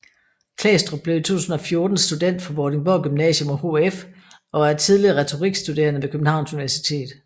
Klæstrup blev i 2014 student fra Vordingborg Gymnasium og HF og er tidligere retorikstuderende ved Københavns Universitet